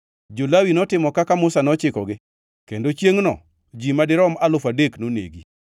Jo-Lawi notimo kaka Musa nochikogi kendo chiengʼno ji madirom alufu adek nonegi.